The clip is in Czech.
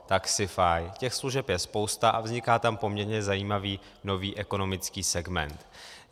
Těch služeb je spousta a vzniká tam poměrně zajímavý nový ekonomický segment.